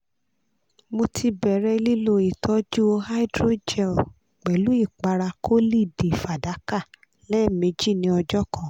mo ti bẹrẹ lilo itọju hydrogel pẹlu ipara collid fadaka lẹmeji ni ọjọ kan